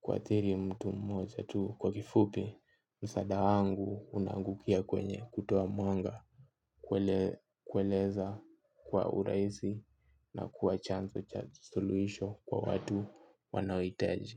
kuathiri mtu mmoja tu kwa kifupi. Msaada wangu unangukia kwenye kutoa mwanga kueleza kwa uraisi na kuwa chanzo cha suluisho kwa watu wanaoitaji.